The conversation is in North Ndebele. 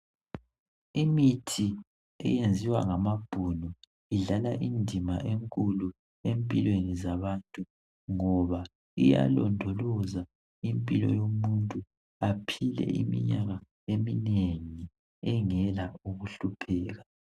Imithi eyaziwa ngamabhunu idlala indima enkulu empilweni zabantu ngoba iyalondoloza impilo yomuntu baphile iminyaka eminengi engela ukuhlupheka.